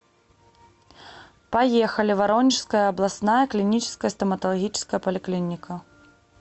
поехали воронежская областная клиническая стоматологическая поликлиника